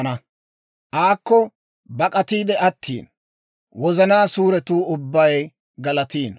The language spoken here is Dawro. S'illotuu Med'inaa Godaan nashetinonne, aakko bak'atiide attiino; wozanaa suuretuu ubbay galatino.